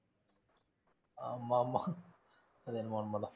ஆமா ஆமா. அதென்னமோ உண்மைதான்.